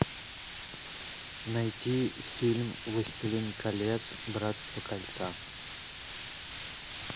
найти фильм властелин колец братство кольца